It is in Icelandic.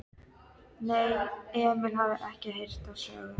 Nei, Emil hafði ekki heyrt þá sögu.